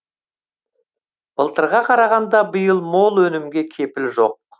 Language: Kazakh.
былтырға қарағанда биыл мол өнімге кепіл жоқ